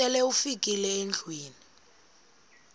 sele ufikile endlwini